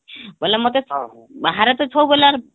ବୋଇଲେ ମତେ ବାହାରେ ତ ଛବୁବେଳେ ଆର